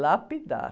Lapidar.